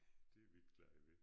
Det er vi ikke glade ved